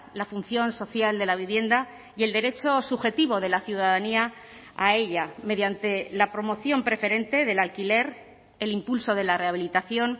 la función social de la vivienda y el derecho subjetivo de la ciudadanía a ella mediante la promoción preferente del alquiler el impulso de la rehabilitación